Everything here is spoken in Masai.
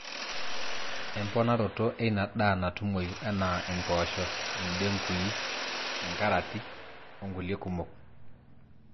emponaroto eina daa natumoyu enaa impoosho, indengui, carati onkule kumok